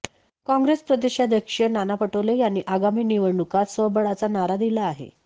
कॉंग्रेस प्रदेशाध्यक्ष नाना पटोले यांनी आगामी निवडणूकांत स्वबळाचा नारा दिला आहे